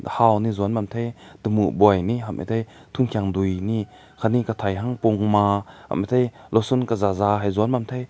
hao ne zuan ne bam te tamu boi ni ham ne te tungkai deui ni katai hang pu ma ram matai lusun kazaza hae zaün bam teh.